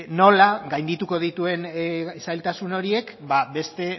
nola gaindituko dituen zailtasun horiek beste